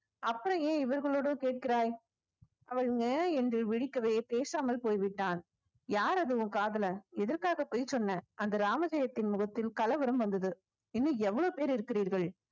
அப்புறம் ஏன் இவர்களோடவோ கேட்கிறாய் அவள் என்று விழிக்கவே பேசாமல் போய்விட்டான் யார் அது உன் காதலன் எதற்காக பொய் சொன்ன அந்த ராமஜெயத்தின் முகத்தில் கலவரம் வந்தது இன்னும் எவ்வளவு பேர் இருக்கிறீர்கள்